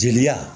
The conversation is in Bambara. Jeliya